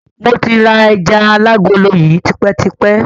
Mo ti ra ẹjà alágolo yìí tipẹ́ tipẹ́.